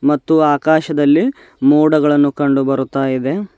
ಮತ್ತು ಆಕಾಶದಲ್ಲಿ ಮೋಡಗಳನ್ನು ಕಂಡು ಬರುತ್ತಾ ಇದೆ.